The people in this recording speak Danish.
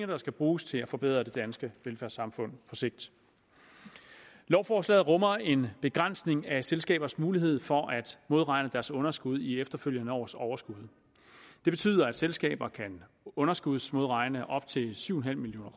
der skal bruges til at forbedre det danske velfærdssamfund på sigt lovforslaget rummer en begrænsning af selskabers mulighed for at modregne deres underskud i efterfølgende års overskud det betyder at selskaber kan underskudsmodregne op til syv million